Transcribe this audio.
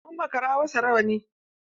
Mun makara wa sa rawanni.